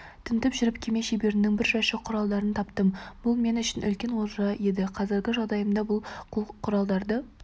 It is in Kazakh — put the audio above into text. тінтіп жүріп кеме шеберінің бір жәшік құралдарын таптым бұл мен үшін үлкен олжа еді қазіргі жағдайымда бұл құралдарды